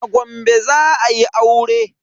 A Gombe za ayi aure.